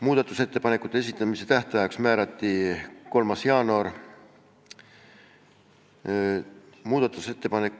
Muudatusettepanekute esitamise tähtajaks määrati 3. jaanuar.